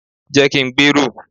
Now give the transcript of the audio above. je kin gberu